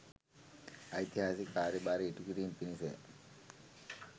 ඓතිහාසික කාර්යභාරය ඉටු කිරීම පිණිස ය.